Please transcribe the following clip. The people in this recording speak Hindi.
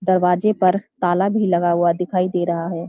दरवाजे पर ताला भी लगा हुआ दिखाई दे रहा है।